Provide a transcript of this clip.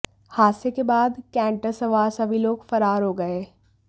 हादसे के बाद कैंटर सवार सभी लोग फरार हो गए